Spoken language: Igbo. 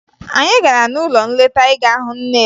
Anyị gara n'ụlọ nleta ịga hụ nne ya